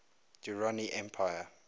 durrani empire